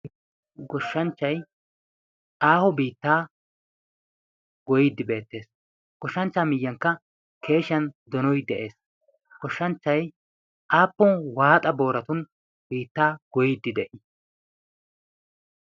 goshshanchchai aaho biittaa goyiddi beettees. goshshanchcha miyyankka keeshiyan donoy de.ees. goshshanchchay aappon waaxa booratun biittaa goiddi de'ii